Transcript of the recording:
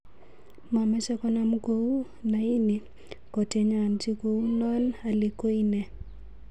Mamache konam kou ,na ini kotenyaji kou non hali koi ne?